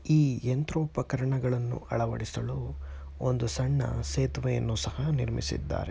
ಈ ಯಂತ್ರೋಪಕರಣಗಳನ್ನು ಅಳವಡಿಸಲೂ ಒಂದು ಸಣ್ಣ ಸೇತವೆಯನು ಸಹ ನಿರ್ಮಿಸಿದ್ದಾರೆ .